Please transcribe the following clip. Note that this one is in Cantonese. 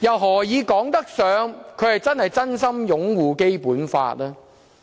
何以說得上他是真心擁護《基本法》呢？